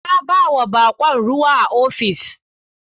Na bawa bako ruwa a ofis.